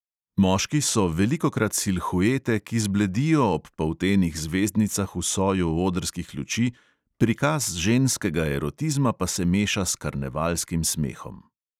Moški so velikokrat silhuete, ki zbledijo ob poltenih zvezdnicah v soju odrskih luči, prikaz ženskega erotizma pa se meša s karnevalskim smehom.